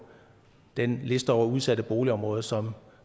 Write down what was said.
den liste over udsatte boligområder som